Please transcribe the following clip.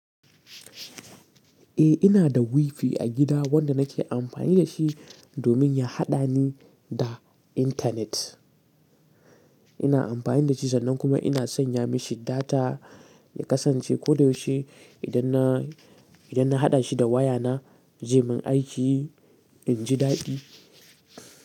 Eh ina da wifi a gida wanda nake amfani da shi domin ya haɗa ni da intanet. Ina amfani da shi sannan kuma ina sanya mashi data ya kasance koyaushe idan na, idan na haɗa shi da wayana, je min aiki in ji daɗi.